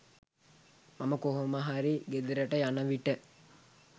මම කොහොමහරි ගෙදරට යන විට